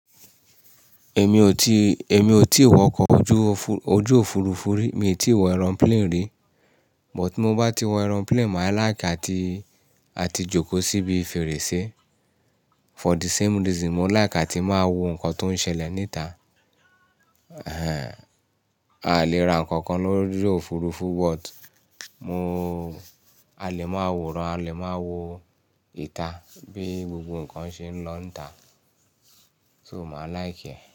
Èmi ò ti, èmi ò ti wọ ọkọ̀ ojú òfu, ojú òfurufú rí, mi ti wọ aeroplane rí, but tí mo bá ti wọ aeroplane, màá like àti, àti jókòó síbi fèrèsé. For the same reason, mo like àti máa wo nǹkan tó ń ṣẹlẹ̀ níta. Èè a lè ra nǹkan kan lórí òfurufú, but mo, a lè máa wòran, a lè máa wo ìta bí gbogbo ǹkan ṣe ń lọ níta, so màá like ẹ̀